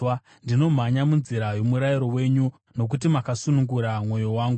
Ndinomhanya munzira yomurayiro wenyu, nokuti makasunungura mwoyo wangu.